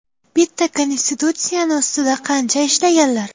Bitta konstitutsiyani ustida qancha ishlaganlar.